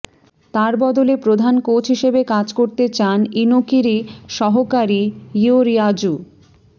তাঁর বদলে প্রধান কোচ হিসেবে কাজ করতে চান ইনোকিরই সহকারী ইয়োরিয়াজু